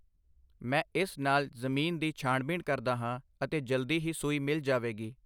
ਮੈਂ ਇਸ ਨਾਲ ਜ਼ਮੀਨ ਦੀ ਛਾਣਬੀਣ ਕਰਦਾ ਹਾਂ ਅਤੇ ਜਲਦੀ ਹੀ ਸੂਈ ਮਿਲ ਜਾਵੇਗੀ।